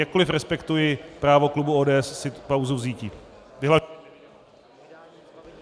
Jakkoliv respektuji právo klubu ODS si tu pauzu vzíti.